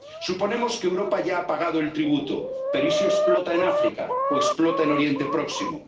fue la peor. Suponemos que Europa ya ha pagado el tributo, pero ¿y si explota en África o explota en Oriente